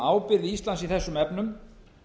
ábyrgð íslands í þessum efnum